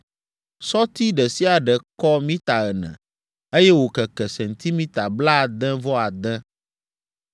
Sɔti ɖe sia ɖe kɔ mita ene, eye wòkeke sentimita blaade-vɔ-ade.